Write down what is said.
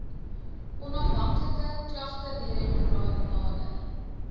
onafhanklike klagtedirektoraat nader